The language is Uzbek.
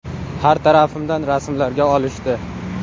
Har tarafimdan rasmlarga olishdi.